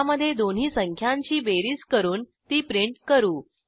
ह्यामधे दोन्ही संख्यांची बेरीज करून ती प्रिंट करू